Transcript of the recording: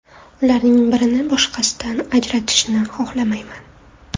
Ularning birini boshqasidan ajratishni xohlamayman.